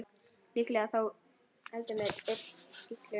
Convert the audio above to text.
Líklega þó heldur með illu.